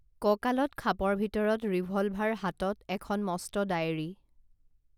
কঁকালত খাপৰ ভিতৰত ৰিভলভাৰ হাতত এখন মস্ত ডায়েৰী